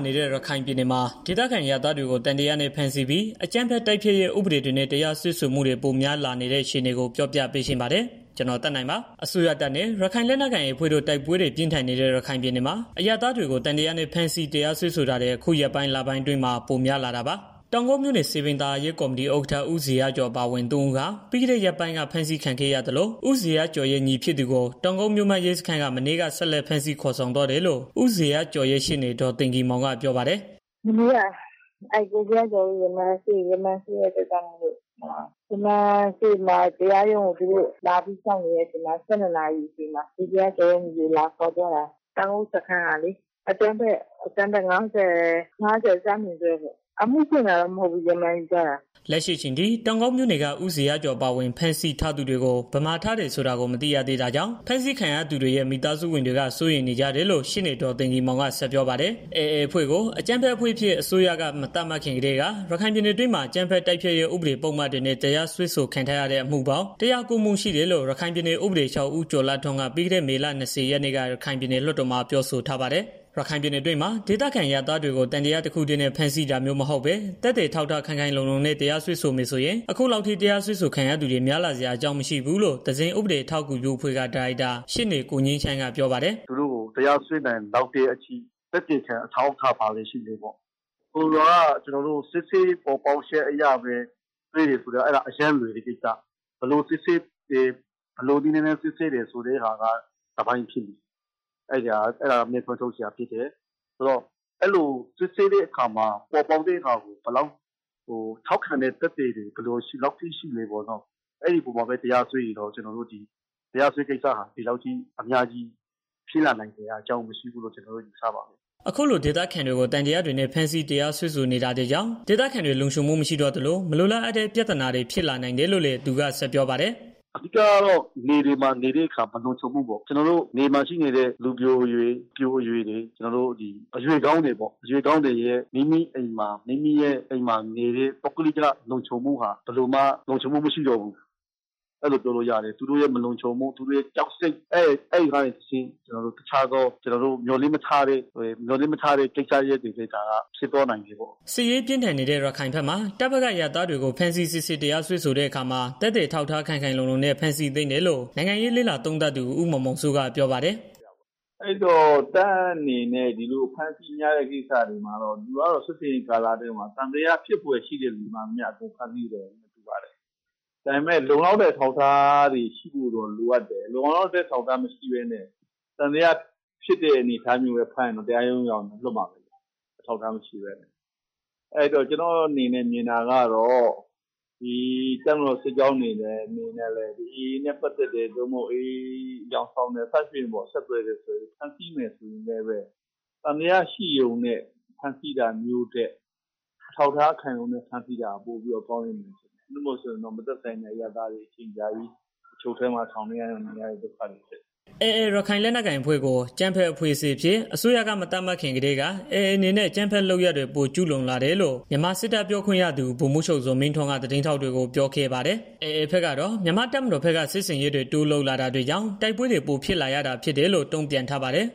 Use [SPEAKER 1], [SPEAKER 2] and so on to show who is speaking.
[SPEAKER 1] နေတဲ့ ရခိုင်ပြည်နယ်မှာ ဒေသခံအရပ်သားတွေကို သံသယနဲ့ ဖမ်းဆီးပြီး အကြမ်းဖက် တိုက်ဖျက်ရေး ဥပဒေတွေနဲ့ တရားစွဲမှုတွေ ပိုမို များပြားလာနေတဲ့ အခြေအနေကို ပြောပြပေးချင်ပါတယ်။ ဒီအကြောင်း ဗွီအိုအေမြန်မာပိုင်းသတင်းထောက် ကိုသက်နိုင်က တင်ပြပေးပါမယ်။ အစိုးရတပ်နဲ့ ရခိုင်လက်နက်ကိုင် AA အဖွဲ့တို့ တိုက်ပွဲတွေပြင်းထန်နေတဲ့ ရခိုင်ပြည်နယ်မှာအရပ်သားတွေကို သံသယနဲ့ ဖမ်းဆီးတရားစွဲဆိုတာတွေ အခု ရက်ပိုင်း၊ လပိုင်းအတွင်း ပိုများလာတာပါ။ တောင်ကုတ်မြို့နယ် စည်ပင်သာယာရေးကော်မတီဥက္ကဋ္ဌ ဦးဇေယျကျော် အပါအဝင် သုံးဦးဟာပြီးခဲ့တဲ့ ရက်ပိုင်းက ဖမ်းဆီးခံခဲ့ရသလို၊ ဦးဇေယျကျော်ရဲ့ ညီဖြစ်သူကို တောင်ကုတ်မြို့မရဲစခန်းက မနေ့က ဆက်လက်ဖမ်းဆီး ခေါ်ဆောင်သွားတယ်လို့ ဦးဇေယျကျော်ရဲ့ ရှေ့နေ ဒေါ်သိဂီ ၤမောင်က ပြောပါတယ်
[SPEAKER 2] ။ "မနေ့က ကိုဇေယျကျော်တို့ ရမာန်ရှိတော့ သူတို့က တရားရုံကို လာပြီးတော့ စောင့်နေတာ အချိန်မှာ ၁၂နာရီ ကျော်လောက်မှာ ကိုဇေယျကျော်ရဲ့ ညီကို လာခေါ်သွားတာ တောင်ကုတ်စခန်းကလေ အကြမ်းဖက် ၅၀ (ဈ)နဲ့ ပေါ့။ အမှုဖွင့်တာတော့ မဟုတ်ဘူး။ ရမာန်ယူထားတာ။
[SPEAKER 1] " လက်ရှိအချိန်ထိ တောင်ကုတ်မြို့နယ်က ဦးဇေယျကျော်အပါအဝင် ဖမ်းဆီးထားသူတွေကို ဘယ်မှားထားတယ်ဆိုတာကို မသိရသေးတာကြောင့် ဖမ်းဆီးခံရသူတွေရဲ့ မိသားစုဝင်တွေက စိုးရိမ်နေကြတယ်လို့ ရှေ့နေ ဒေါ်သိဂီ ၤမောင်က ဆက်ပြောပါတယ်။ AA အဖွဲ့ကို အကြမ်းဖက်အဖွဲ့အဖြစ် အစိုးရက မသတ်မှတ်ခင်ကတည်းက ရခိုင်ပြည်နယ်အတွင်းမှာ အကြမ်းဖက် တိုက်ဖျက်ရေးပုဒ်မတွေနဲ့ တရားစွဲဆိုခံထားရတဲ့ အမှုပေါင်း ၁၀၉ မှု ရှိတယ်လို့ ရခိုင်ပြည်နယ် ဥပဒေချုပ် ဦးကျော်လှထွန်းက ပြီးခဲ့တဲ့ မေလ ၂၀ ရက်နေ့က ပြည်နယ်လွှတ်တော်မှာ ပြောဆိုထားပါတယ်။ ရခိုင်ပြည်နယ်အတွင်းမှာ ဒေသခံအရပ်သားတွေကို သံသယတစ်ခုတည်းနဲ့ ဖမ်းဆီးတာမျိုးမဟုတ်ပဲနဲ့ သက်သေ အထောက်အထားခိုင်ခိုင်လုံလုံနဲ့ တရားစွဲဆိုမယ်ဆိုရင် အခုလောက်ထိ တရားစွဲဆိုခံသူတွေ များလာစရာ အကြောင်း မရှိဘူးလို့ သဇင်ဥပဒေအထောက်အကူပြုအဖွဲ့က ဒါရိုက်တာ ရှေ့နေကိုငြိမ်းချမ်းက ပြောပါတယ်။
[SPEAKER 3] "သူတို့ကို တရားစွဲနိုင်လောက်တဲ့အထိ သက်သေခံအထောက်အထား ဘာတွေရှိလဲပေါ့ ဆိုလိုတာကကျနော်တို့ စစ်ဆေးပေါ်ပေါက်ချက်အရ စွဲတယ်ဆိုတာက အရမ်းကို လွယ်တဲ့ ကိစ္စ ဘယ်လိုနည်းလမ်းနဲ့ စစ်ဆေးတယ်ဆိုတာက တစ်ပိုင်းပေါ့။ စစ်ဆေးတဲ့ အခါ စစ်ဆေးချက်ကို ဘယ်လောက်ထောက်ခံမှု ရှိလဲပေါ့နော်။ အဲအပေါ်မှာပဲ တရားစွဲတယ်ဆိုရင်တော့ တရားစွဲတဲ့ ကိစ္စဟာ ဒီလောက်ထိ များလာစရာအကြောင်း မရှိဘူးလို့ ကျနော်တို့ မြင်တယ်
[SPEAKER 1] ။" အခုလို ဒေသခံတွေကို သံသယတွေနဲ့ ဖမ်းဆီး တရားစွဲဆိုနေတာတွေကြောင့် ဒေသခံတွေလုံခြုံမှု မရှိတော့သလို မလိုလားအပ်တဲ့ ပြဿနာတွေ ဖြစ်လာနိုင်တယ်လို့ လည်း သူက ဆက်ပြောပါတယ်။ "
[SPEAKER 3] အဓိကတော့ မြေပြင်မှာနေတဲ့အခါကျတော့ လုံခြုံမှုပေါ့။ ကျနော်တို့ နယ်မှာရှိနေတဲ့ လူပျိုအရွယ် အပျိုအရွယ်တွေ အရွယ်ကောင်းတွေပေါ့။ မိမိအိမ်မှာနေပြီး ပုဂ္ဂလိက လုံခြုံမှုဟာ ဘယ်လိုမှ မရှိတော့ဘူး။ သူတို့ရဲ့ မလုံခြုံမှု သူတို့ရဲ့ ကြောက်စိတ်ကနေတစ်ဆင့် တစ်ခြားကျနော်တို့ မျှော်လင့်မထားတဲ့ ကိစ္စရပ်တွေလည်း ဖြစ်သွားနိုင်တယ်။
[SPEAKER 1] " စစ်ရေးပြင်းထန်နေတဲ့ ရခိုင်ဘက်မှာ တပ်ဘက်က အရပ်သားတွေကို ဖမ်းဆီးစစ်ဆေးတရားစွဲဆိုတဲ့ အခါမှာ သက်သေအထောက်အထားခိုင်ခိုင်လုံလုံနဲ့ ဖမ်းဆီးသင့်တယ်လို့ နိုင်ငံရေး လေ့လာသုံးသပ်သူ ဦးမောင်မောင်စိုးက ပြောပါတယ်
[SPEAKER 2] ။ "တပ်ဘက်ကတော့ ဒီလို စစ်ဆင်ရေးအတွင်းမှာ သံသယရှိတဲ့ လူတွေအားလုံးကိုတော့ ဖမ်းဆီးစစ်ဆေးမှာပဲ ဒါပေမယ့် လုံလောက်တဲ့ အထောက်အထားတွေရှိဖို့တော့ လိုအပ်တယ်။ လုံလောက်တဲ့ အထောက်အထား မရှိဘဲနဲ့ သံသယရှိတဲ့အနေအထားနဲ့ ဖမ်းရင်တော့ တရားရုံးရောက်ရင်တော့ လွှတ်မှာပဲ။ အဲတော့ ကျနော်မြင်တာက တပ်မတော်စစ်ကြောင်းအနေနဲ့ AA နဲ့ ပတ်သတ်တယ် AA လို့ သံသယ ရှိတယ် အယောင်ဆောင်တယ် ဆက်သွယ်တာရှိရင်တောင် သံသယနဲ့ ဖမ်းတာထက် အထောက်အထားခိုင်လုံနဲ့ ဖမ်းဆီးတာ ပိုပြီးတော့ ကောင်းမယ်ထင်တယ်။ မဟုတ်ရင် မသက်ဆိုင်တဲ့ အရပ်သားတွေ အချုပ်ထဲ ထောင်ထဲမှာ အချိန်အကြာကြီး ဒုက္ခရောက်ကြရတယ်။"
[SPEAKER 1] AA ရခိုင်လက်နက်ကိုင်အဖွဲ့ကို အကြမ်းဖက်အဖွဲ့အဖြစ် အစိုးရက မသတ်မှတ်ခင်ကတည်းက AA အနေနဲ့ အကြမ်းဖက်လုပ်ရပ်တွေ ပိုကျူးလွန်လာတယ်လို့ မြန်မာစစ်တပ် ပြောခွင့်ရသူ ဗိုလ်မှူးချုပ်ဇော်မင်းထွန်းက သတင်းထောက်တွေကို ပြောခဲ့ပါတယ်။ AA ဘက်ကတော့ မြန်မာတပ်မတော်ဘက်က စစ်ဆင်ရေးတွေ တိုးလုပ်လာတာကြောင့်တိုက်ပွဲတွေ ပိုဖြစ်လာတာလို့ တုံ့ပြန်ထားပါတယ်